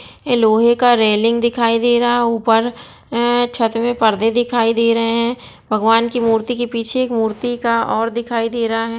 ए लोहे का रैलिंग दिखाई दे रहा ऊपर छत मे परदे दिखाई दे रहे हैं भगवान के मूर्ति के पीछे एक मूर्तिकार और दिखाई दे रहा हैं ।